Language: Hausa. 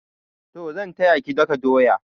Toh zan taya ki daka doya.